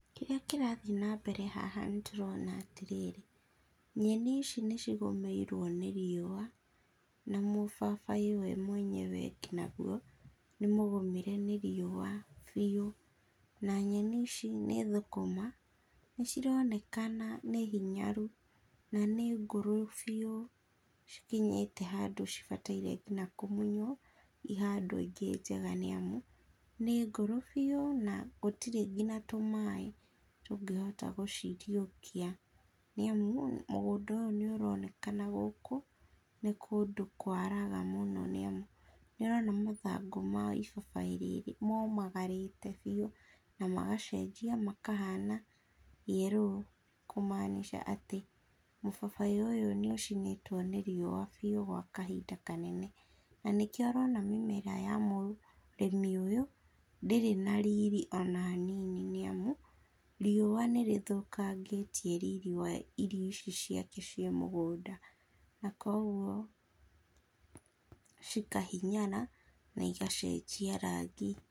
Kĩrĩa kĩrathiĩ na mbere haha nĩ tũrona atĩ rĩrĩ, nyeni ici nĩcigũmĩirwo nĩ rĩũa, na mũbabaĩ we mwenyewe ngĩnya gũo nĩ mũgũmĩre nĩ rĩũa biũ na nyeni ici nĩ thũkũma, nĩciraonekana nĩ hĩnyaru na nĩ ngũrũ biũ nĩ cikinyĩte handũ cibataire ngĩnya kũmũnywo ihandwo ĩge njega nĩ amũ nĩ ngũrũ bĩũ na gũtirĩ ngĩnya tumaĩ tungĩhota gũciriũkia, nĩ amũ mũgũnda ũyũ nĩ ũraonekana gũkũ nĩ kũndũ kũaraga mũno nĩ amũ nĩ ũrona mathangũ ma ibabaĩ rĩrĩ momagarĩte bĩũ na magacenjĩa makahana yellow, kũmaanica atĩ mũbabaĩ ũyũ nĩ ũcinĩtwo nĩ rĩũa biũ kwa kahinda kanene, na nĩkĩo ũrona mĩmera ya mũrimĩ ũyũ ndĩrĩ na rĩrĩ ona hanini nĩ amũ rĩũa nĩrĩthũkagĩtie rĩrĩ wa irio ici cĩake cia mũgũnda na koguo cikahinyara na igacenjia rangĩ.